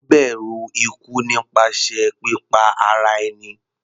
Ó bẹ̀rù ikú nípasẹ̀ pípa ara ẹni.